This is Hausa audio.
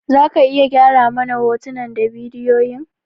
Za ka iya gyara mana hotunan da bidiyoyin?